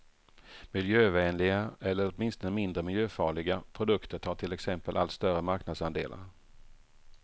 Miljövänliga, eller åtminstone mindre miljöfarliga, produkter tar till exempel allt större marknadsandelar.